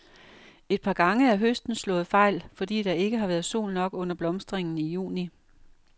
Et par gange er høsten slået fejl, fordi der ikke har været sol nok under blomstringen i juni.